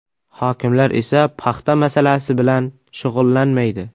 Hokimlar esa paxta masalasi bilan shug‘ullanmaydi.